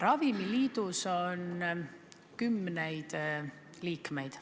Ravimiliidus on kümneid liikmeid.